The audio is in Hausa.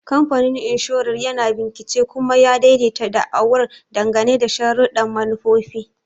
Kamfanin Inshorar yana bincika kuma ya daidaita da'awar dangane da sharuɗɗan manufofi.